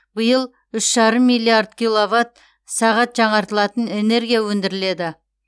биыл үш жарым миллиард киловатт сағат жаңартылатын энергия өндіріледі